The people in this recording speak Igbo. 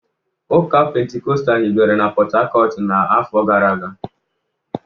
Ụka Pentikọstal hibere na Port-Harcourt n'afọ gara aga